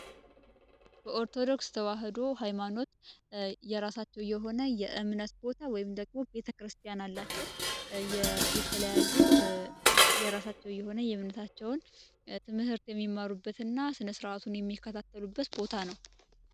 በኦርቶዶክስ ተዋሕዶ ሀይማኖት የራሳቸው የሆነ ቦታ ወይም ደግሞ ቤተክርስቲያን አላቸው። የተለያዩ የራሳቸው የሆነ ትምህርት የሚማሩበት እና ስነስርዓቱን የሚከታተሉበት ቦታ ነው።